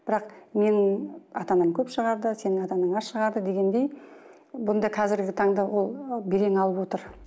бірақ менің ата анам көп шығарды сенің ата анаң аз шығарды дегендей бұнда қазіргі таңда ол белең алып отыр